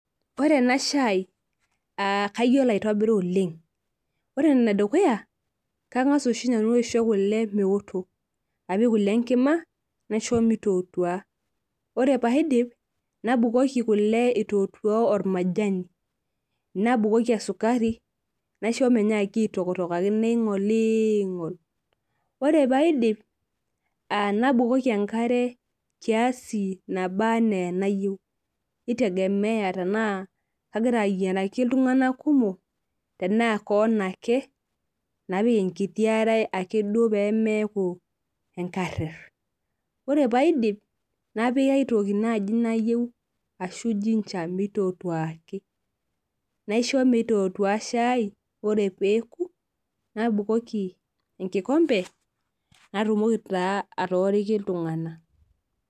Koree enashai kayiolo aitobira oleng ore enedukuya kangasa oshi nanu aisho kule meoto naisho mitootua lre padip natpikami majaninabukoki esukari naishi migira aingolingolaki naingolingol ore paidip nabukoki enkare kiasi nabaa and enayieu nitegemea tanaa kagira ayieraki ltunganak kumok tenaa kewon ake napik enkiti are ake pemeaku enkarer ore paidip napik aitoki nai nayieu ashu[cs[ ginger mitootuaaki naisho motootua shai kre peoku nibukoki enkikombe natumoki taa atooriki ltunganak.